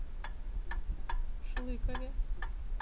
шлыкове